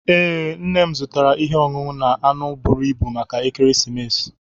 Ee, nne m zụtara ihe ọṅụṅụ na anụ buru ibu maka ekeresimesi